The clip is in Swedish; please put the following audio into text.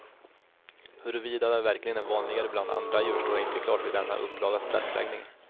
Huruvida det verkligen är vanligare bland andra djur stod inte klart vid denna upplagas pressläggning.